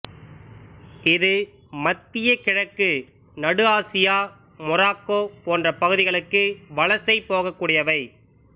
இது மத்தியக் கிழக்கு நடு ஆசியா மொராக்கோ போன்ற பகுதிகளுக்கு வலசை போக்கூடியவை